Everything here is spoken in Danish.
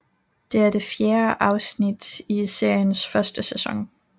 Det er det fjerde afsnit af seriens første sæson